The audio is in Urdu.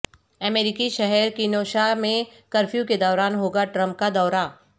امریکی شہر کینوشا میں کرفیو کے دوران ہوگا ٹرمپ کا دورہ